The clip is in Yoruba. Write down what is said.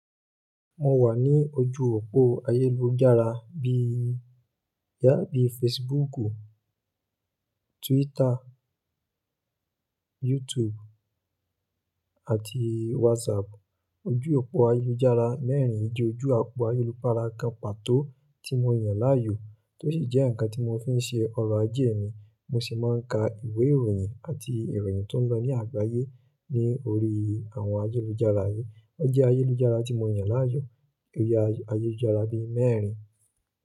Mo wà ní ojú òpó ayélujára bí i, yà bíi Facebooku, Twitter, YouTube àti WhatsApp. Ojú òpó ayélujára mẹ́rin ijó ojú òpó ayélupára kan pàtó tí mo yàn láàyò, tó sì jẹ́ ǹkan tí mò ń fi ṣe ọrọ̀ ajé mi, mo sì máa ń ka ìwé ìròyìn àti ìròyìn tó ń lọ ní àgbáyé ní orí àwọn ayélujára yìí. Ó jẹ́ ayélujára tí mo yàn láàyò, oyè ayélujára bí i mẹ́rin.